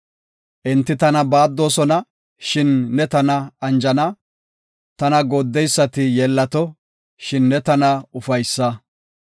Enti tana baaddoosona, shin ne tana anjana; tana gooddeysati yeellato; shin ne tana ufaysa.